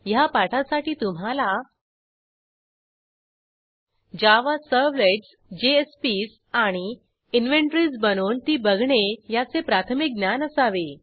ह्या पाठासाठी तुम्हाला जावा सर्व्हलेट्स जेएसपीएस आणि इन्व्हेन्टरीज बनवून ती बघणे या चे प्राथमिक ज्ञान असावे